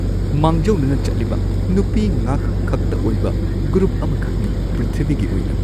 ꯃꯥꯡꯖꯧꯅꯅ ꯆꯠꯂꯤꯕ ꯅꯨꯄꯤ ꯉꯥꯛ ꯈꯛꯇ ꯑꯣꯏꯕ ꯒ꯭ꯔꯨꯞ ꯑꯃꯈꯛꯅꯤ ꯄ꯭ꯔꯤꯊꯤꯕꯤꯒꯤ ꯑꯣꯏꯅ